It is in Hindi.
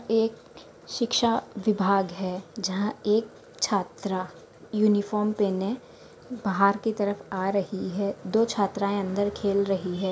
ये एक शिक्षा विभाग है जहां एक छात्रा यूनिफॉर्म पहने बाहर की तरफ आ रही है दो छात्राए अंदर खेल रही है।